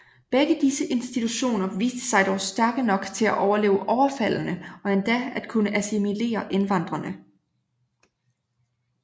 Begge disse institutioner viste sig dog stærke nok til at overleve overfaldene og endda at kunne assimilere indvandrerne